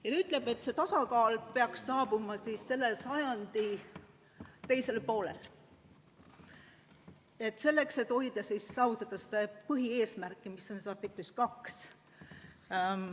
Aga on öeldud, et see tasakaal peaks saabuma selle sajandi teisel poolel ja seda selleks, et saavutada seda põhieesmärki, mis on kirjas artiklis 2.